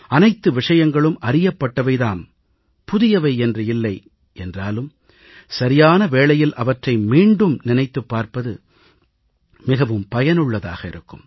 அனைத்து விஷயங்களும் அறியப்பட்டவை தான் புதியவை என்று இல்லை என்றாலும் சரியான வேளையில் அவற்றை மீண்டும் நினைத்துப் பார்ப்பது மிகவும் பயனுள்ளதாக இருக்கும்